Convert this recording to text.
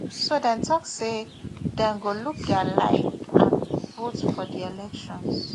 so dem tok say dem go look dia life and vote for di elections